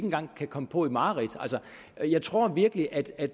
engang kan komme på i mareridt jeg tror virkelig at at